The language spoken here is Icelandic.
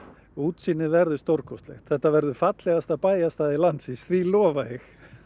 útsýnið verður stórkostlegt þetta verður fallegasta bæjarstæði landsins því lofa ég